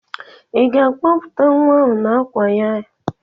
Ị ga-akpọpụta nwa ahụ n'àkwà ya?